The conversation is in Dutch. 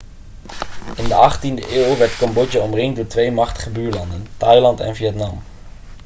in de 18e eeuw werd cambodja omringd door twee machtige buurlanden thailand en vietnam